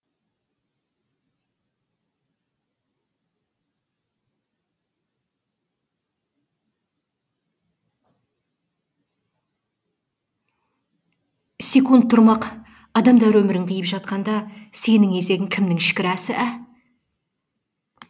есек тұрмақ әдәмдәр өмірін қиып жатқанда сенің есегің кімнің шікәрәсі ә